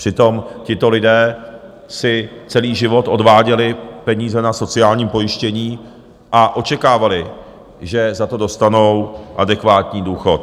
Přitom tito lidé si celý život odváděli peníze na sociální pojištění a očekávali, že za to dostanou adekvátní důchod.